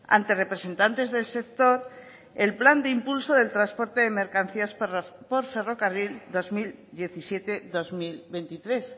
ante representantes del sector el plan de impulso del transporte de mercancías por ferrocarril dos mil diecisiete dos mil veintitrés